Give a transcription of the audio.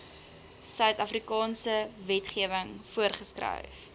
suidafrikaanse wetgewing voorgeskryf